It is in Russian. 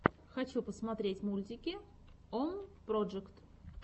хочу посмотреть мультики ом проджект